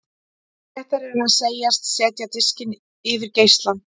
Réttara er að segjast setja diskinn yfir geislann.